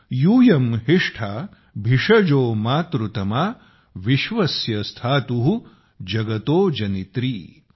यूयं हिष्ठा भिषजो मातृतमा विश्वस्य स्थातु जगतो जनित्री ।।